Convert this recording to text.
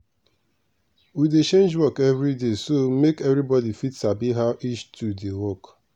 we dey change work every day so make everybody fit sabi how each tool dey work.